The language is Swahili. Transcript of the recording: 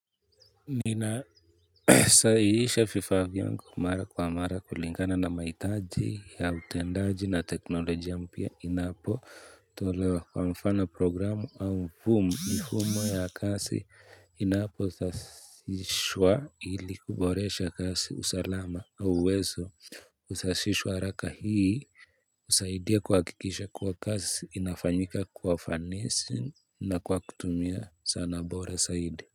Nina sahihisha vifaa vyangu mara kwa mara kulingana na maitaji ya utendaji na teknolojia mpya inapo tolewa kwa mfano programu au boom ni humo ya kasi inaposashishwa ili kuboresha kasi usalama au uwezo usashishwa haraka hii husaidia kwa kuhakikisha kuwa kasi inafanyika kwa ufanisi na kwa kutumia sana bora saidi.